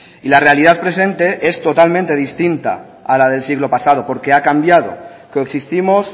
y la realidad presente es totalmente distinta a la del siglo pasado porque ha cambiado coexistimos